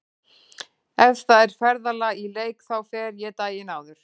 Ef það er ferðalag í leik þá fer ég daginn áður.